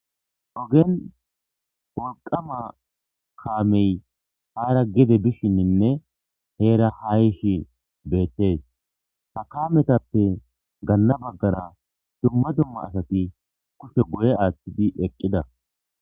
ogen wolqama kaamey haara gede bishinninne heera hayishi beettes ha kaametappe ganna baggara dumma dumma asati kushe guye aaththidi eqqida